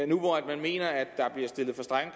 nu hvor man mener at der bliver stillet for strenge